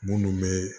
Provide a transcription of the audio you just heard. Munnu be